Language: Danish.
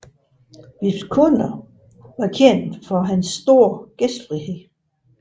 Bisp Gunner var kendt for sin store gæstfrihed